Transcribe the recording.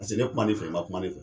Paseke ne kuma i fɛ, i ma kuma ne fɛ.